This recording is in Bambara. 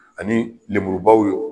Ani lenburubaw ye